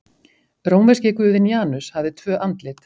Rómverski guðinn Janus hafði tvö andlit.